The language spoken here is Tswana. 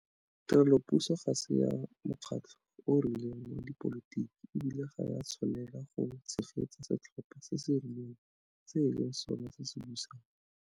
Tirelopuso ga se ya mokgatlho o o rileng wa dipolotiki, e bile ga e a tshwanelwa go tshegetsa setlhopha se se rileng se e leng sona se se busang.